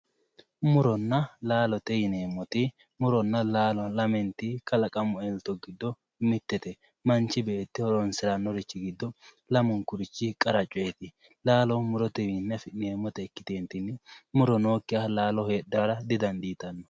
Muronna laalo yineemmoti muronna laalo lamenti kalaqamu elto giddo mitete manchi beetti horonsiranori giddo lamunkurichi qara coyte laalo murotewinni ikkitetinni muro nookkiha laalo heedhara didandittano.